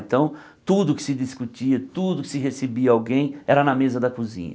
Então, tudo que se discutia, tudo que se recebia alguém era na mesa da cozinha.